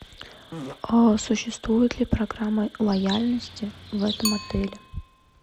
существует ли программа лояльности в этом отеле